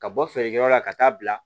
Ka bɔ feerekɛyɔrɔ la ka taa bila